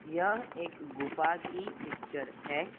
यह एक गुफा की पिक्चर है।